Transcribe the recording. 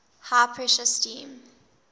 high pressure steam